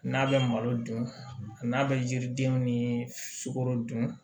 N'a bɛ malo dun a n'a bɛ yiridenw ni sukoro dun